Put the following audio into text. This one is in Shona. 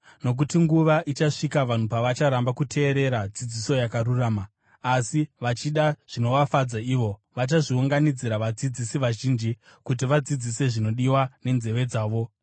Nokuti nguva ichasvika vanhu pavacharamba kuteerera dzidziso yakarurama. Asi vachida zvinovafadza ivo, vachazviunganidzira vadzidzisi vazhinji kuti vadzidzise zvinodiwa nenzeve dzavo.